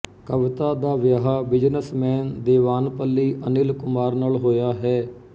ਕਵਿਤਾ ਦਾ ਵਿਆਹ ਬਿਜ਼ਨਸਮੈਨ ਦੇਵਾਨਪੱਲੀ ਅਨਿਲ ਕੁਮਾਰ ਨਾਲ ਹੋਇਆ ਹੈ